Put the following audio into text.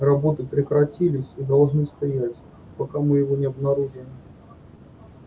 работы прекратились и должны стоять пока мы его не обнаружим